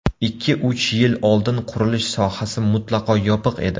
Ikki-uch yil oldin qurilish sohasi mutlaqo yopiq edi.